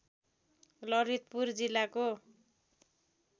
ललितपुर जिल्लाको